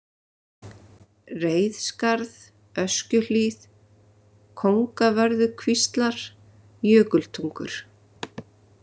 Reiðskarð, Öskjuhlíð, Kóngavörðukvíslar, Jökultungur